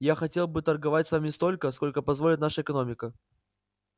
я хотел бы торговать с вами столько сколько позволит наша экономика